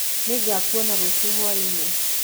Nĩngakuona rũciũ hũainĩ.